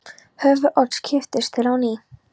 Höfuð Odds kipptist til á ný.